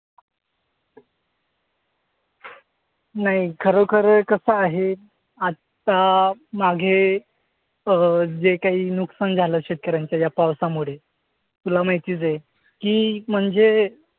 नाही. खरोखर कसं आहे? आत्ता माघे अं जे काही नुकसान झालं शेतकर्‍यांचं ह्या पावसामुळे, तुला माहितीच आहे की, म्हणजे